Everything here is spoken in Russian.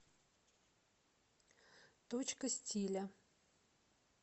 точка стиля